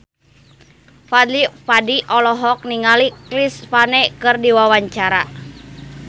Fadly Padi olohok ningali Chris Pane keur diwawancara